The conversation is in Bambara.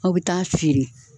Aw bɛ taa feere.